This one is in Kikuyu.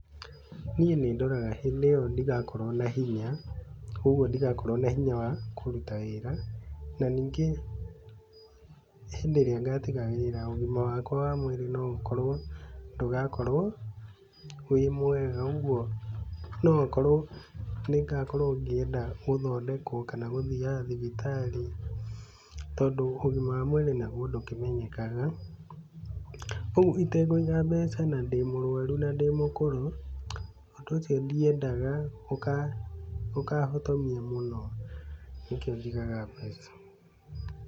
Niĩ nĩndoraga hĩndĩ ĩyo ndigakorwo na hinya, ũguo ndigakorwo na hinya wa kũruta wĩra na ningĩ hĩndĩ ĩrĩa ngatiga wĩra, ũgima wakwa wa mwĩrĩ no ũkorwo ndũgakorwo wĩ mwega ũguo, no okorwo nĩngakorwo ngĩenda gũthondekwo kana gũthiaga thibitarĩ tondũ ũgima wa mwĩrĩ naguo ndũkĩmenyekaga, ũguo itekũiga mbeca na ndĩ mũrwaru na ndĩ mũkũrũ, ũndũ ũcio ndiendaga ũkahotomia mũno nĩkĩo njigaga mbeca.